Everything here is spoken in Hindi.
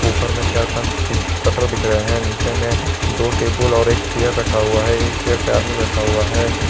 ऊपर में चार पांच सीट शटर दिख रहे है नीचे में दो टेबल और एक चेयर रखा हुआ है एक चेयर पर आदमी बैठा हुआ है।